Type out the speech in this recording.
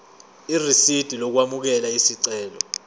irisidi lokwamukela isicelo